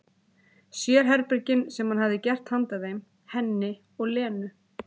Sérherbergin sem hann hefði gert handa þeim, henni og Lenu.